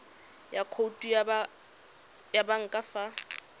le khoutu ya banka fa